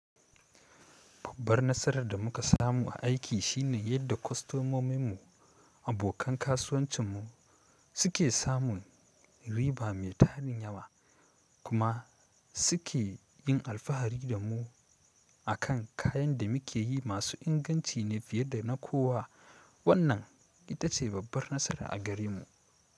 Babbar nasarar da muka samu a aiki shine yadda kwastomomin mu, abokan kasuwancin mu suke samun riba mai tarin yawa kuma suke yin alfahari da mu a kan kayan da muke yi masu inganci ne fiye da na kowa. Wannan ita ce babbar nasara a gare mu.